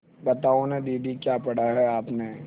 बताओ न दीदी क्या पढ़ा है आपने